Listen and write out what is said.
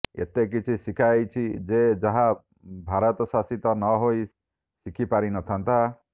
ଏତେ କିଛି ଶିଖାଇଛି ଯେ ଯାହା ଭାରତ ଶାସିତ ନହୋଇ ଶିଖି ପାରିନଥାନ୍ତା